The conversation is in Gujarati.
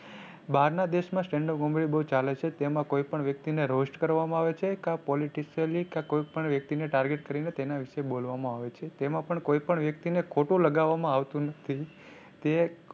બહાર ના દેશ માં stand up comedy બહુ ચાલે છે તેમાં કોઈ પણ વ્યક્તિ ને roast કરવામાં આવે છે કા politicially કા કોઈ પણ વ્યક્તિ ને target કરી ને તેના વિશે બોલવામાં આવે છે. તેમાં પણ કોઈ પણ વ્યક્તિ ને ખોટું લગાવામાં આવતું નથી.